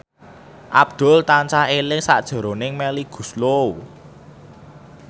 Abdul tansah eling sakjroning Melly Goeslaw